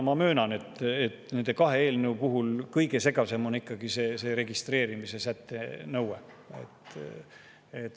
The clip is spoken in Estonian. Ma möönan, et nendest kahest eelnõust on kõige segasem ikkagi see registreerimise nõude säte.